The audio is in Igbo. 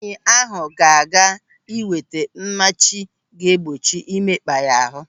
Nwaanyị ahụ ga-aga ị nweta mmachi ga-egbochi imekpa ya ahụ.